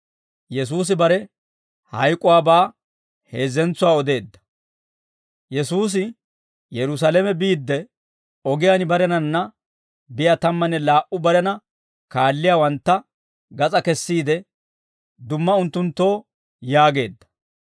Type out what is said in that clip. Yesuusi Yerusaalame biidde, ogiyaan barenanna biyaa tammanne laa"u barena kaalliyaawantta gas'aa kessiide, dumma unttunttoo yaageedda.